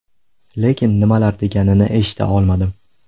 Lekin nimalar deganini eshita olmadim.